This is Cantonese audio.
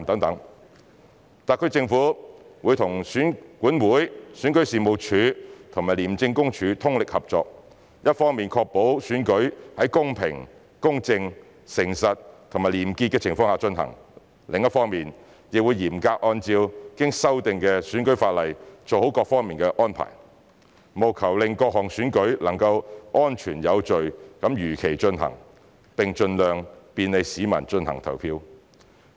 特區政府會與選舉管理委員會、選舉事務處及廉政公署通力合作，一方面確保選舉在公平、公正、誠實及廉潔的情況下進行；另一方面亦嚴格按照經修訂的選舉法例做好各方面的安排，務求令各項選舉能夠安全有序地如期進行，並盡量便利市民進行投票。